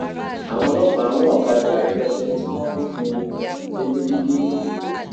àwọn ọlọpàá run ọkadà rẹpẹtẹ tí wọn rúfin ìrìnnà jẹgẹjẹgẹ lẹkọọ